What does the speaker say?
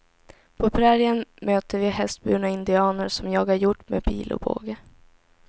På prärien möter vi hästburna indianer som jagar hjort med pil och båge.